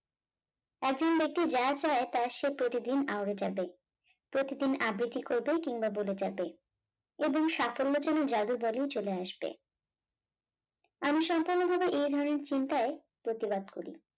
একজন ব্যক্তি যা চায় তা সে প্রতিদিন আওরে যাবে প্রতিদিন আবৃত্তি করবে কিংবা বলে যাবে এবং সাফল্য যেন জাদু বলেই চলে আসবে, আমি সম্পূর্ণরূপে এই ধরনের চিন্তায় প্রতিবাদ করি।